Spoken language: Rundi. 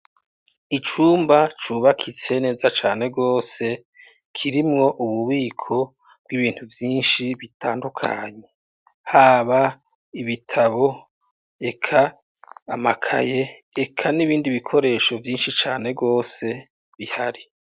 Icumba cubakitse neza cane gose kirimwo ububiko bwibintu vyinshi bitandukanye, haba ibitabu eka amakaye, eka nibindi bikoresho vyinshi cane gose bihari.